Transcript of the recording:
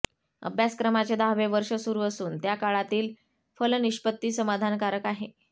अभ्यासक्रमाचे दहावे वर्ष सुरू असून त्या काळातील फलनिष्पत्ती समाधानकारक आहे